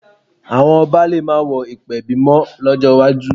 Àwọn ọba lè má wọ ìpèbí mọ́ lọ́jọ́ iwájú